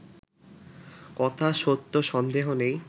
কথা সত্য সন্দেহ নেই